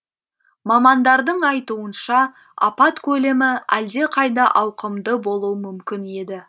мамандардың айтуынша апат көлемі әлдеқайда ауқымды болуы мүмкін еді